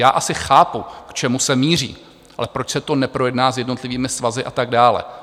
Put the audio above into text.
Já asi chápu, k čemu se míří, ale proč se to neprojedná s jednotlivými svazy a tak dále?